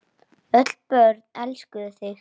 Öll börn elskuðu þig.